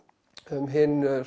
um hinn